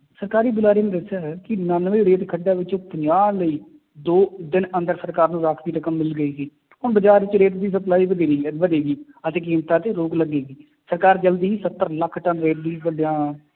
ਸਰਕਾਰੀ ਬੁਲਾਰੇ ਨੇ ਦੱਸਿਆ ਹੈ ਕਿ ਉਨਾਨਵੇਂ ਰੇਤ ਖੱਡਾਂ ਵਿੱਚੋਂ ਪੰਜਾਹ ਲਈ ਦੋ ਦਿਨ ਅੰਦਰ ਸਰਕਾਰ ਨੂੰ ਰਾਂਖਵੀ ਰਕਮ ਮਿਲ ਗਈ ਸੀ ਹੁਣ ਬਾਜ਼ਾਰ ਵਿੱਚ ਰੇਤ ਦੀ ਸਪਲਾਈ ਵਧੇਰੀ ਹੈ ਵਧੇਗੀ ਅਤੇ ਕੀਮਤਾਂ ਚ ਰੋਕ ਲੱਗੇਗੀ, ਸਰਕਾਰ ਜ਼ਲਦੀ ਹੀ ਸੱਤਰ ਲੱਖ ਟੱਨ